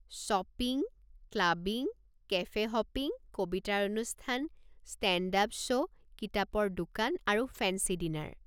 Shopping, clubbing, cafe hopping, কবিতাৰ অনুষ্ঠান, stand up show, কিতাপৰ দোকান আৰু ফেঞ্চী ডিনাৰ।